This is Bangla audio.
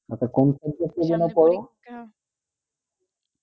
আচ্ছা কোন subject এ জন্য আপনি পোড়